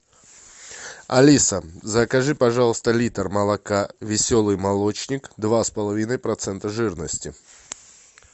алиса закажи пожалуйста литр молока веселый молочник два с половиной процента жирности